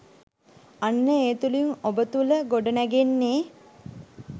අන්න ඒ තුළින් ඔබ තුළ ගොඩනැගෙන්නේ